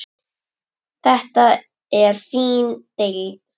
Þetta er þín deild.